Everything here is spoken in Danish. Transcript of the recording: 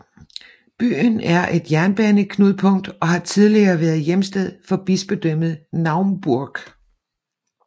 Byen er et jernbaneknudpunkt og har tidligere været hjemsted for Bispedømmet Naumburg